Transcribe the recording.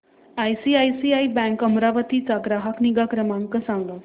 ICICI bank Amravati चा ग्राहक निगा क्रमांक सांगा